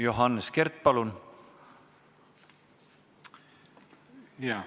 Johannes Kert, palun!